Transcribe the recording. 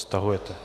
Stahujete.